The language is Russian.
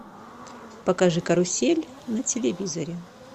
покажи карусель на телевизоре